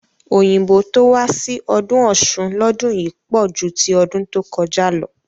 Òyìnbó tó wá sí ọdún Ọ̀ṣun lọdún yìí pọ̀ ju ti ọdún tó kọjá lọ